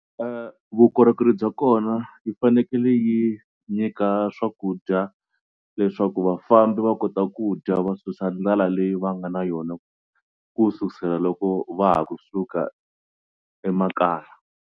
Vukorhokeri bya kona yi fanekele yi nyika swakudya leswaku vafambi va kota ku dya va susa ndlala leyi va nga na yona ku susela loko va ha kusuka emakaya.